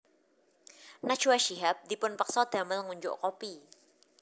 Najwa Shihab dipun peksa damel ngunjuk kopi